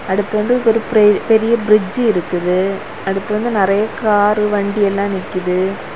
அடுத்து வந்து ஒரு பெ பெரிய பிரிட்ஜ் இருக்குது அதுக்கு வந்து நெறைய காரு வண்டி எல்லா நிக்கிது.